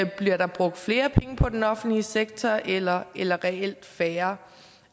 bliver brugt flere penge på den offentlige sektor eller eller reelt færre